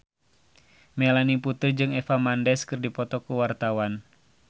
Melanie Putri jeung Eva Mendes keur dipoto ku wartawan